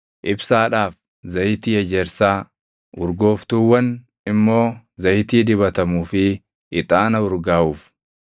ibsaadhaaf, zayitii ejersaa, urgooftuuwwan immoo zayitii dibatamuu fi ixaana urgaaʼuuf;